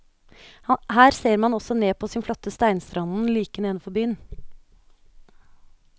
Her ser man også ned på den flotte steinstranden like nedenfor byen.